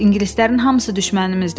İngilislərin hamısı düşmənimizdir.